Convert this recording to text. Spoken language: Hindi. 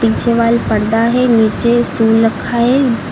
पीछे वाल पर्दा है नीचे स्टूल रखा है।